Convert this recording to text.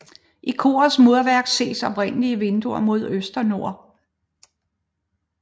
I korets murværk ses oprindelige vinduer mod øst og nord